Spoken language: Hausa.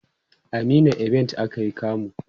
a meena event akayi kamu